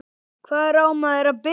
Hvar á maður að byrja?